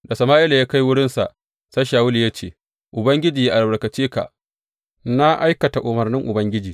Da Sama’ila ya kai wurinsa, sai Shawulu ya ce, Ubangiji yă albarkace ka, na aikata umarnin Ubangiji.